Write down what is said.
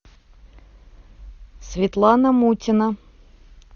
светлана мутина